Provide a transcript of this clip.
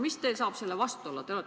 Mis teil saab selle vastu olla?